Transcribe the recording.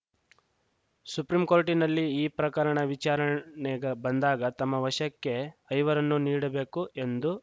supreme ಕೋರ್ಟಿನಲ್ಲಿ ಈ ಪ್ರಕರಣ ವಿಚಾರಣೆ ಬಂದಾಗ ತಮ್ಮ ವಶಕ್ಕೆ ಐವರನ್ನೂ ನೀಡಬೇಕು ಎಂದು